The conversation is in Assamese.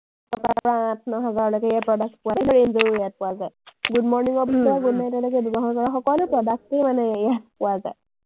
আঠ, ন হাজাৰলৈকে ইয়াৰ product ৰো ইয়াত পোৱা যায়। good morning ৰ পিছত good night লৈকে ব্যৱহাৰ কৰা সকলো product য়েই মানে ইয়াত পোৱা যায়।